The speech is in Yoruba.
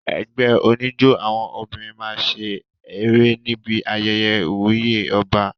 Ẹgbẹ́ oníjó àwọn obìnrin máa ṣe eré níbi ayẹyẹ ìwúyè ọba.